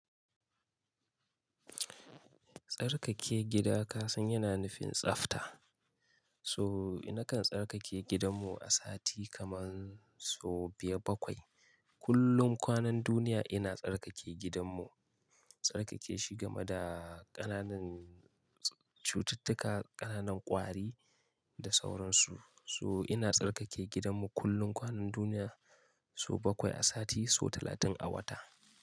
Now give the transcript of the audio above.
Tsarkake gida kasan yana nufin tsafta. So ina kan tsarkake gidanmu a sati kamar so biyar bakwai. Kullum kwanan duniya ina tsarkake gidanmu. Tsarkake shi game da ƙananan cututtuka, ƙananan ƙwari da sauransu. So ina tsarkake gidanmu kullum kwanan duniya so bakwai a sati so talatin a wata.